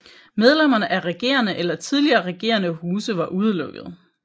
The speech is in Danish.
Medlemmer af regerende eller tidligere regerende huse var udelukkede